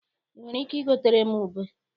I nwere ike igotere m ube?